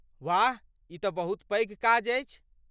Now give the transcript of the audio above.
वाह... ई तँ बहुत पैघ काज अछि!